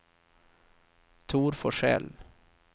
Tor Forsell